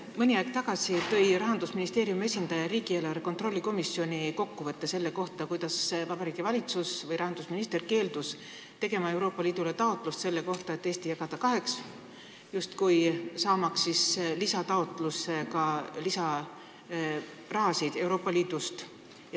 Mõni aeg tagasi tõi Rahandusministeeriumi esindaja riigieelarve kontrolli erikomisjoni istungil kokkuvõtte selle kohta, kuidas Vabariigi Valitsus või õigemini rahandusminister keeldus tegemast Euroopa Liidule taotlust selle kohta, et Eesti tuleks jagada justkui kaheks, saamaks lisataotlustega lisaraha Euroopa Liidust.